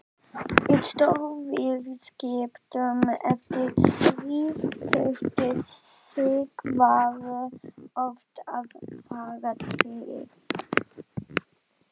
Í stórviðskiptum eftir stríð þurfti Sigvarður oft að fara til